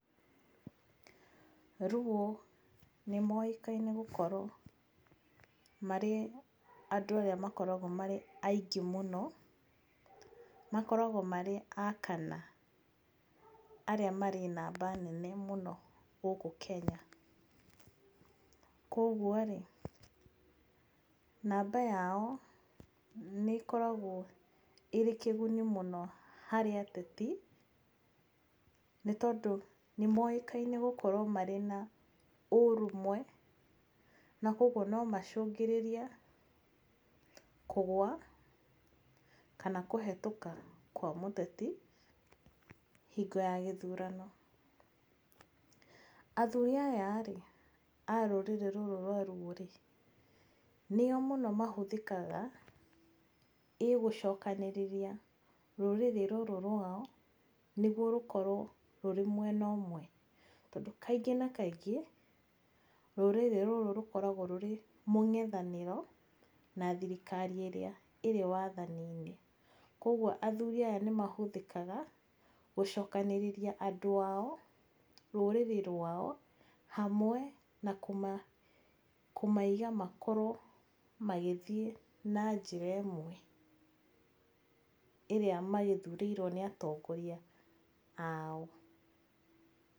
Luo nĩ moĩkaine gũkorwo marĩ andũ arĩa makoragwo marĩ aingĩ mũno, makoragwo marĩ a kana, arĩa marĩ namba nene mũno gũkũ Kenya, koguo-rĩ, namba yao nĩ ĩkoragwo ĩrĩ kĩguni mũno harĩ ateti, nĩ tondũ nĩmoĩkaine gukorwo mena ũrũmwe, nakoguo nomacũngĩrĩrie kũgwa kana kũhetũka kwa mũteti, hingo ya gĩthurano. Athuri aya a rũrĩrĩ rũrũ rwa Luo-rĩ, nĩo mũno mahũthĩkaga, ĩgũcokanĩrĩria rũrĩrĩ rũrũ rwao, nĩguo rũkorwo rwĩmwena ũmwe. Kaingĩ na kaingĩ, rũrĩrĩ rũrũ rũkoragwo rwĩmũng'ethanĩro, na thirika ĩrĩa ĩrĩ wathaninĩ. Koguo athuri aya nĩmahũthĩkaga gũcokanĩrĩria andũ ao, rũrĩrĩ rwao hamwe, na kũmaiga makorwo magĩthiĩ na njĩra ĩmwe, ĩrĩa magĩthurĩirwo nĩ atongoria ao.